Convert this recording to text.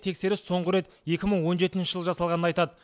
тексеріс соңғы рет екі мың он жетінші жылы жасалғанын айтады